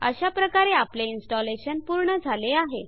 अशाप्रकारे आपले इन्स्टलेशन पूर्ण झाले आहे